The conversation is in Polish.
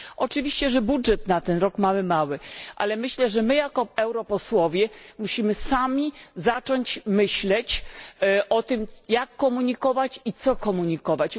Oczywiście, że budżet na ten rok mamy mały, ale myślę, że my jako europosłowie musimy sami zacząć myśleć o tym, jak komunikować i co komunikować.